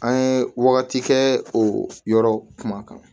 An ye wagati kɛ o yɔrɔ kumakan